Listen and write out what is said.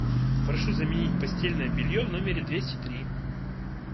прошу заменить постельное белье в номере двести три